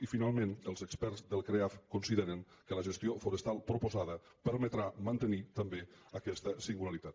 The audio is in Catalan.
i finalment els experts del creaf consideren que la gestió forestal proposada permetrà mantenir també aquesta singularitat